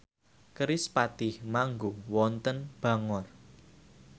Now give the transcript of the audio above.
kerispatih manggung wonten Bangor